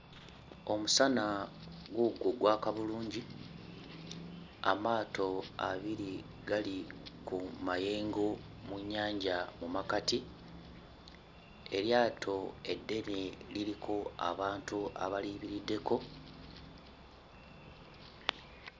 Omusana guugwo gwaka bulungi, amaato abiri gali ku mayengo mu nnyanja mu makkati, eryato eddene liriko abantu abaliyimiriddeko,